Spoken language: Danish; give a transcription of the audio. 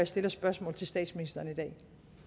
stiller spørgsmål til statsministeren i dag